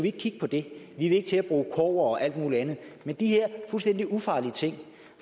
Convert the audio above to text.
ikke kigge på det vi vil ikke til at bruge kobber og alt muligt andet men de her fuldstændig ufarlige ting